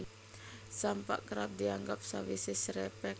Sampak kerep dianggo sawisé srepeg